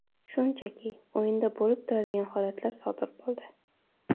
Shunchaki, o‘yinda bo‘lib turadigan holatlar sodir bo‘ldi.